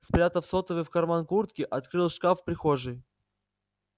спрятав сотовый в карман куртки открыл шкаф в прихожей